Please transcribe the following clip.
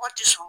Mɔgɔ tɛ sɔn